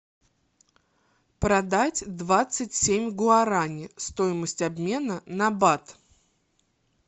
продать двадцать семь гуарани стоимость обмена на бат